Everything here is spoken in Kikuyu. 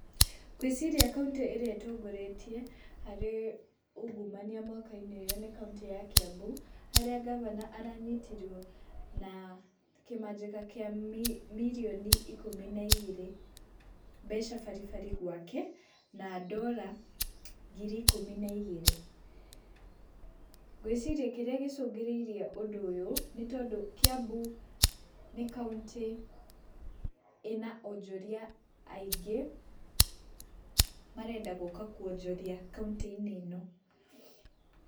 Ngwĩciria kauntĩ ĩrĩa ĩtongoretie harĩ ungumania mwaka-inĩ ũyũ nĩ kauntĩ ya Kiambu, harĩa ngavana kĩmajĩka kĩa mirioni ikũmi na igĩrĩ mbeca baribari gwake, na ndora ngiri ikũmi na igĩrĩ. Ngwĩciria kĩrĩa gĩcũngĩrĩirie ũndũ ũyũ nĩtondũ, Kiambu nĩ kauntĩ ĩna onjoria aingĩ marenda gũka kwonjoria kauntĩ-inĩ ĩno.